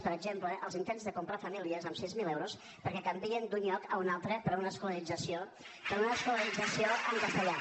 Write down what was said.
per exemple els intents de comprar famílies amb sis mil euros perquè canviïn d’un lloc a un altre per una escolarització en castellà